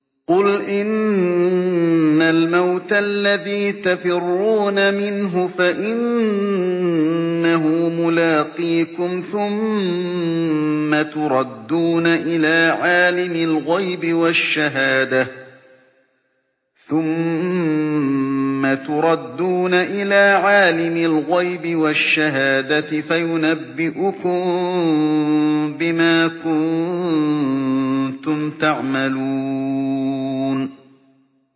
قُلْ إِنَّ الْمَوْتَ الَّذِي تَفِرُّونَ مِنْهُ فَإِنَّهُ مُلَاقِيكُمْ ۖ ثُمَّ تُرَدُّونَ إِلَىٰ عَالِمِ الْغَيْبِ وَالشَّهَادَةِ فَيُنَبِّئُكُم بِمَا كُنتُمْ تَعْمَلُونَ